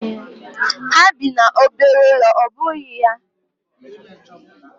Ha bi n'obere ụlọ ọ́ bụghị ya?